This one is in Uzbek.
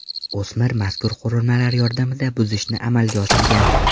O‘smir mazkur qurilmalar yordamida buzishni amalga oshirgan.